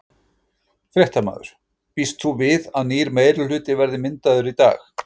Fréttamaður: Býst þú við að nýr meirihluti verði myndaður í dag?